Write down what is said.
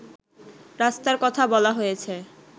রাস্তার কথা বলা হয়েছে